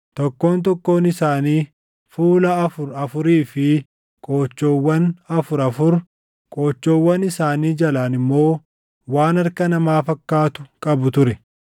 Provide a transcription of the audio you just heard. Tokkoon tokkoon isaanii fuula afur afurii fi qoochoowwan afur afur, qoochoowwan isaanii jalaan immoo waan harka namaa fakkaatu qabu ture.